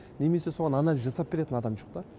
немесе соған анализ жасап беретін адам жоқ та